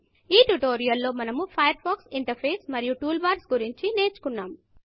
ఈ ట్యుటోరియల్ లో మనము ఫయర్ ఫాక్స్ ఇంటర్ఫేస్ మరియు టూల్ బార్స్ గురించి నేర్చుకున్నాము